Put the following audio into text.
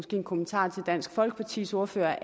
en kommentar til dansk folkepartis ordfører